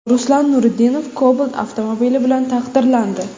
Ruslan Nuriddinov Cobalt avtomobili bilan taqdirlandi.